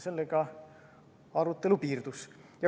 Sellega arutelu piirdus.